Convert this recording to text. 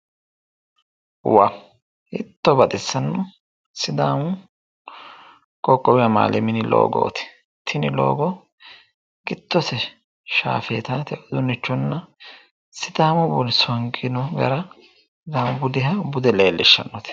Hiitto baxissanno sidaamu dagoomu qoqqowi loogooti tini loogo giddose sidaamu songino garanna bude leellishannote